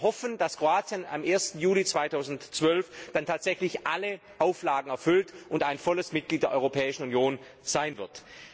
Wir hoffen, das Kroatien am 1. Juli 2012 dann tatsächlich alle Auflagen erfüllt und ein vollwertiges Mitglied der Europäischen Union wird.